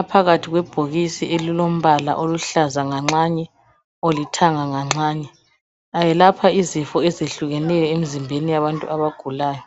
Aphakathi kwebhokisi elilombala oluhlaza nganxanye, olithanga nganxanye. Ayelapha izifo eziyehlukeneyo emizimbeni yabantu abagulayo.